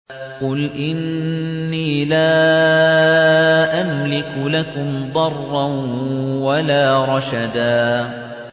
قُلْ إِنِّي لَا أَمْلِكُ لَكُمْ ضَرًّا وَلَا رَشَدًا